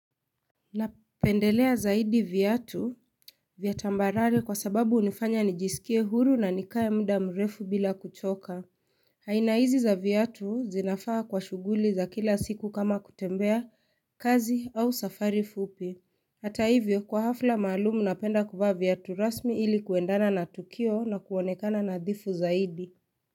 Napendelea zaidi vyatu vyatambarari kwa sababu unifanya nijisikie huru na nikaye mda mrefu bila kuchoka Hainaizi za vyatu zinafaa kwa shuguli za kila siku kama kutembea kazi au safari fupi Hata hivyo kwa hafla maalumu napenda kufaa vyatu rasmi ili kuendana na tukio na kuonekana nadhifu zaidi.